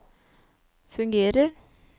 fungerer